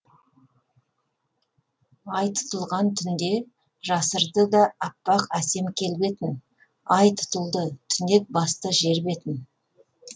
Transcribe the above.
ай тұтылған түнде жасырды да аппақ әсем келбетін ай тұтылды түнек басты жер бетін